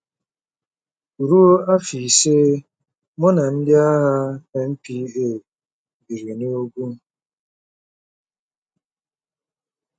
Ruo afọ ise, mụ na ndị agha NPA biri n'ugwu.